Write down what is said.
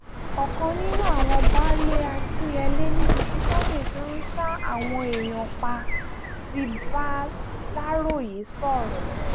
ọ̀kan nínú àwọn baálé akinyele níbi tí sunday ti ń ṣa àwọn èèyàn pa ti bàlàròye sọ̀rọ̀